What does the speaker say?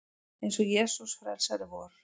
Eins og Jesús frelsari vor.